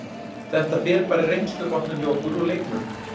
Þetta fer bara í reynslubankann hjá okkur og leikmönnum.